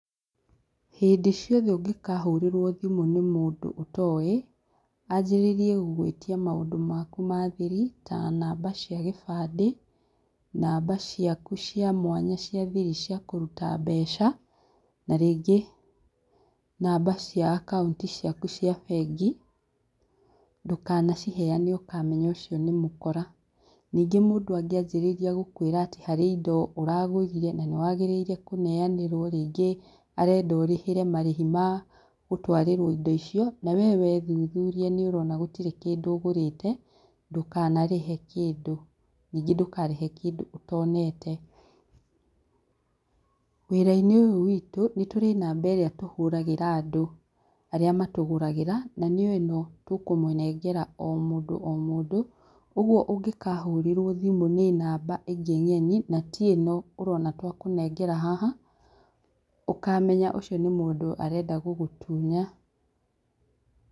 Hĩndĩ ciothe ũngĩkahũrĩrwo thimũ nĩ mũndũ ũtoĩ, anjarĩrie gũgwĩtia maũndũ maku ma thiri ta namba cia gĩbandĩ, namba ciaku cia mwanya cia kũruta mbeca, na rĩngĩ namba cia akaunti ciaku cia bengi ndũkana ciheane ũkamenya ũcio nĩ mũkora , ningĩ mũndũ angĩanjĩrĩria gũkwĩra atĩ harĩ indo ũragarũrire na nĩwagĩrĩire kũneanĩrwo rĩngĩ arenda ũrĩhĩre marĩhi ma gũtwarĩrwo indo icio nawe wethuthuria nĩ ũrona gũtirĩ kĩndũ ũgũrĩte ndũkana rĩhe kĩndũ, ningĩ ndũkarĩhe kĩndũ ũtonete, wĩra-inĩ ũyũ wĩtũ nĩtũrĩ namba ĩrĩa tũhũragĩra andũ arĩa matũgũragĩra na nĩyo ĩno tũkũmũnengera o mũndũ o mũndũ, ũguo ũngĩkahũrĩrwo nĩ namba ĩngĩ ng'eni na ti ĩno ũrona twakũnengera haha ũkamenya ũcio nĩ mũndũ ũrenda gũgũtunya.